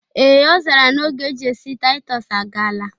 Ee' ọ zara na oge eji esi Taịtọs agala